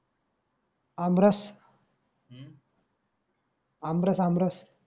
आमरस aamras आमरस